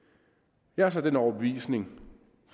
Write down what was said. jeg er så den overbevisning